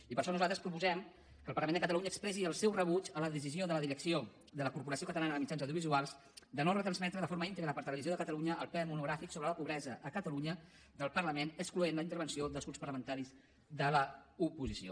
i per això nosaltres proposem que el parlament de catalunya expressi el seu rebuig a la decisió de la direcció de la corporació catalana de mitjans audiovisuals de no retransmetre de forma íntegra per televisió de catalunya el ple monogràfic sobre la pobresa a catalunya del parlament excloent la intervenció dels grups parlamentaris de l’oposició